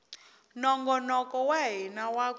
nongonoko wa hina wa ku